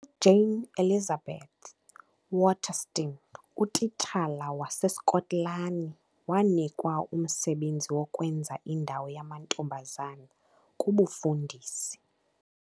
UJane Elizabeth Waterston, utitshala waseSkotlani, wanikwa umsebenzi wokwenza indawo yamantombazana kubufundisi.